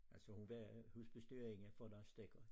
Altså hun var husbestyrerinde for Lars Stegger